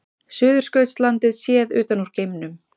Suðurskautslandið séð utan úr geimnum.